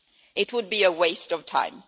It would be a waste of time.